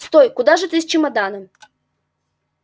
стой куда же ты с чемоданом